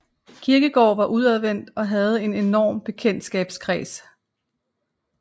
Kierkegaard var udadvendt og havde en enorm bekendtskabskreds